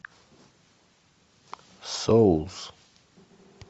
соус